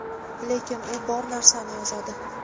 lekin u bor narsani yozadi.